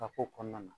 Ka ko kɔnɔna na